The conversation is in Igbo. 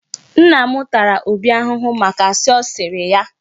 Nna m tara Obi ahụhụ maka asị ọ sịrị ya.